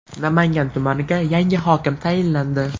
Namangan tumaniga yangi hokim tayinlandi.